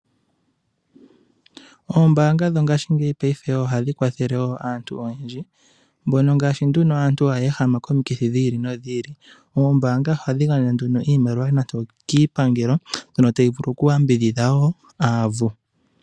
Ombaanga dho ngashingeyi paife ohadhi kwathele aantu oyendji. Aantu haya ehama komikithi dhi ili nodhi ili. Oombaanga ohadhi gandja nduno iimaliwa nande okiipangelo mbyono tayi vulu okuyambidhidha wo aavu.